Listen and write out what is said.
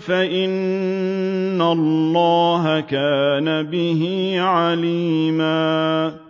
فَإِنَّ اللَّهَ كَانَ بِهِ عَلِيمًا